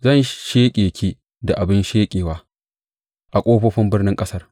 Zan sheƙe ki da abin sheƙewa a ƙofofin birnin ƙasar.